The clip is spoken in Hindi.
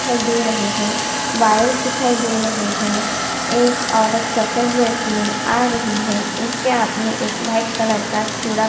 दिखाई दे रहै है वायर्स दिखाई दे रही है एक औरत सफ़ेद ड्रेस में आ रही है उसके हाथ में एक वाइट कलर का चूडा --